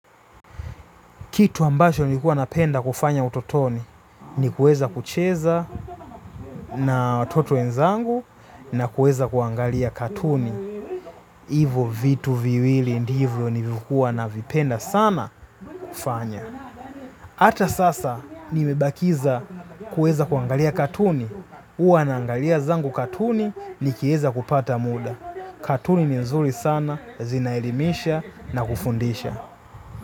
Kitu ambacho nilikuwa napenda kufanya utotoni, ni kuweza kucheza na watoto wenzangu na kuweza kuangalia katuni. Hivo vitu viwili ndivyo nilivyokuwa navipenda sana kufanya. Hata sasa nimebakisha kuweza kuangalia katuni. Huwa naangalia zangu katuni, nikieza kupata muda. Katuni ni nzuri sana, zinaelimisha na kufundisha.